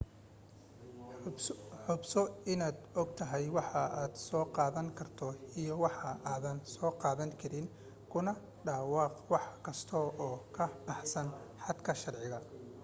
hubso inaad ogtahay waxa aad soo qaadan karto iyo waxa aadan soo qaadan karin kuna dhawaaqwax kasta oo ka baxsan xadka sharciga